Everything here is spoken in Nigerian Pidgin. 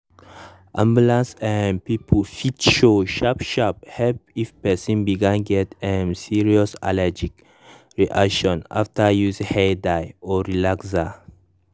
ambulance um people fit show sharp sharp help if person begin get um serious allergic reaction after use hair dye or relaxer.